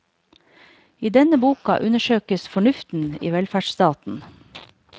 I denne boka undersøkes fornuften i velferdsstaten.